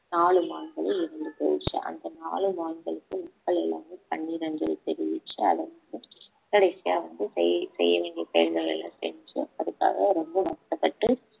நாலு மான்கள் இறந்து போயிடுச்சு அந்த நாலு மான்களுக்கு மக்கள் எல்லாமே கண்ணீர் அஞ்சலி தெரிவிச்சு கடைசியா வந்து செய்~ செய்ய வேண்டிய செயல்களெல்லாம் செஞ்சு அதுக்காக ரொம்ப வறுத்தப்பட்டு